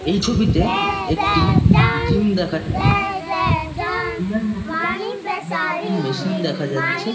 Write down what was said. এই ছবিতে একটি জিম দেখা যাচ্ছে। জিমের মধ্যে অনেক রকমের মেশিন দেখা যাচ্ছে।